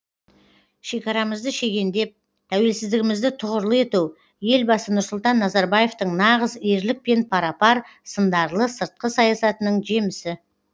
шекарамызды шегендеп тәуелсіздігімізді тұғырлы ету елбасы нұрсұлтан назарбаевтың нағыз ерлікпен пара пар сындарлы сыртқы саясатының жемісі